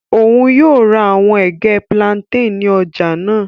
Oun yoo ra awọn ege plantain lati ọja naa.